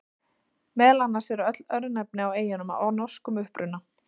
Meðal annars eru öll örnefni á eyjunum af norskum uppruna.